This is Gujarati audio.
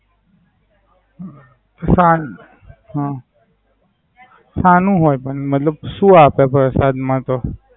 હમ ફાન. શા નું હોય મતલબ શું આપે પરસાદ માં તો?